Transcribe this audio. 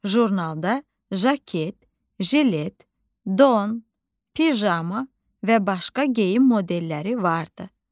Jurnalda jaket, jilet, don, pijama və başqa geyim modelləri vardı.